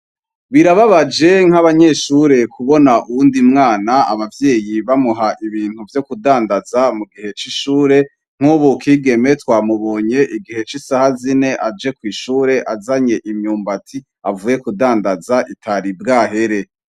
Birababaje nk'abanyeshure kubona uwundi mwana abavyeyi bamuha ibintu vyo kudandaza mu gihe c'ishure nk'uba ukigeme twamubonye igihe c'isaha zine aje kw'ishure azanye imyumba ati avuye kudandaza itari bwa here.